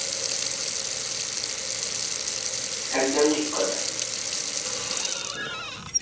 একদম ঠিক কথা যখন নিজে অসুবিধাই পড়বে তখন বুঝবে,